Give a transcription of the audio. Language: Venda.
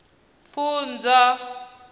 pfunzo